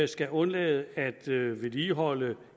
skal undlade at vedligeholde